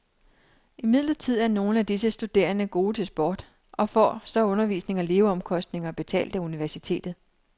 Imidlertid er nogle af disse studerende gode til sport, og får så undervisning og leveomkostninger betalt af universitetet.